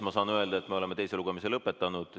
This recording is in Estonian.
Ma saan öelda, et me oleme teise lugemise lõpetanud.